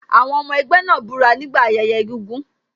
Àwọn ọmọ ẹgbẹ́ náà búra nígbà ayẹyẹ egúngún.